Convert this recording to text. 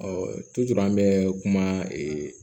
an bɛ kuma ee